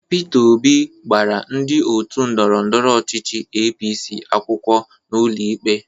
Pita Obi gbara ndị otu ndọrọndọrọ ọchịchị APC akwụkwọ n'ụlọ ikpe.